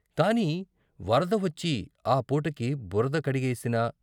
కాని వరద వచ్చి ఆ పూటకి బురద కడిగేసినా.